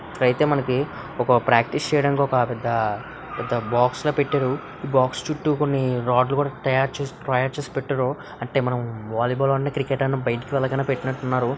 ఇక్కడ అయితే మనకి ప్రాక్టీసు చేయడానికి ఒక పెద్ద బాక్స్ లా పెట్టారు ఈ బాక్స్ చుట్టూ కొన్ని రాడ్లు కూడా తయారు తయారు చేసి పెట్టారు అంటే మనం వాలీ బాల్ ఆడిన క్రికెట్ ఆడిన బయటికి వెళ్ళగానే పెట్టినట్టు ఉన్నారు.